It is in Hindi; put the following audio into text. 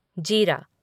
जीरा